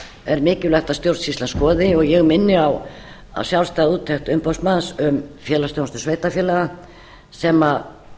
er mikilvægt að stjórnsýslan skoði og ég minni á að sjálfstæð úttekt umboðsmanns um félagsþjónustu sveitarfélaga sem